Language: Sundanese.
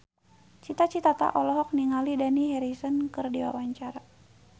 Cita Citata olohok ningali Dani Harrison keur diwawancara